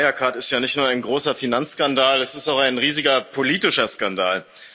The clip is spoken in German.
Der Fall Wirecard ist ja nicht nur ein großer Finanzskandal, es ist auch ein riesiger politischer Skandal.